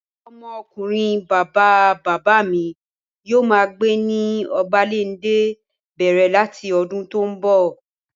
Ọmọ ọkunrin bàbá bàbá mi yóò máa gbé ní Obalende bẹ̀rẹ̀ láti ọdún tó n bọ̀